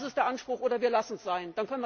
Das ist der Anspruch, oder wir lassen es sein.